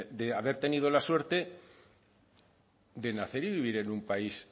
de haber tenido la suerte de nacer y vivir en un país